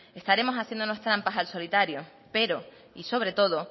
estaremos haciéndonos trampas al solitario pero y sobre todo